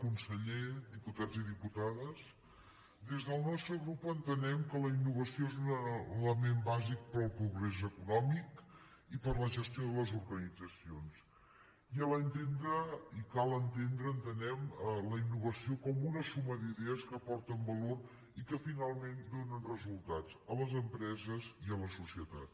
conseller diputats i diputades des del nostre grup entenem que la innovació és un element bàsic per al progrés econòmic i per a la gestió de les organitzacions i cal entendre entenem la inno·vació com una suma d’idees que aporten valor i que finalment donen resultats a les empreses i a la societat